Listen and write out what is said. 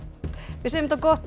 við segjum þetta gott